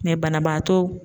banabaatɔw